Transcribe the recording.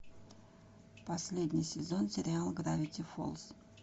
последний сезон сериала гравити фолз